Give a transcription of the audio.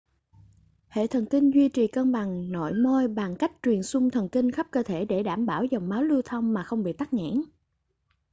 hệ thần kinh duy trì cân bằng nội môi bằng cách truyền xung thần kinh khắp cơ thể để đảm bảo dòng máu lưu thông mà không bị tắc nghẽn